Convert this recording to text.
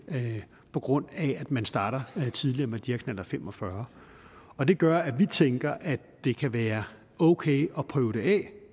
på grund af at man starter tidligere med knallert fem og fyrre og det gør at vi tænker at det kan være okay at prøve det af